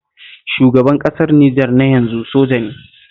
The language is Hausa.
Shugaban ƙasar Nijer na yanzu soja ne